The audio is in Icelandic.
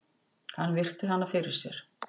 Hann virti hana fyrir sér.